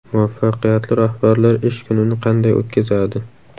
Muvaffaqiyatli rahbarlar ish kunini qanday o‘tkazadi?.